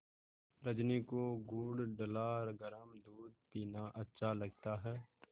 रजनी को गुड़ डला गरम दूध पीना अच्छा लगता है